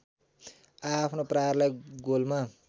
आआफ्नो प्रहारलाई गोलमा